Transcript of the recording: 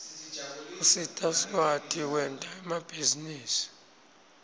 usita sikwati kwenta emabhizinisi